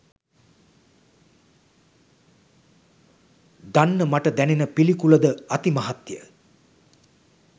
දන්න මට දැනෙන පිළිකුලද අතිමහත්ය.